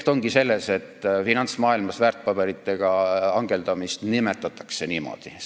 Asi ongi selles, et finantsmaailmas väärtpaberitega hangeldamist nimetatakse niimoodi.